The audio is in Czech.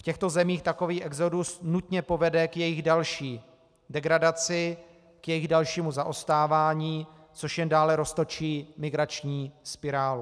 V těchto zemích takový exodus nutně povede k jejich další degradaci, k jejich dalšímu zaostávání, což jen dále roztočí migrační spirálu.